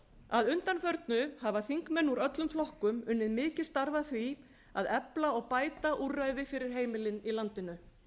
að undanförnu hafa þingmenn úr öllum flokkum unnið mikið starf að því að efla og bæta úrræði fyrir heimilin í landinu